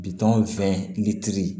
Bitɔn in fɛn litiri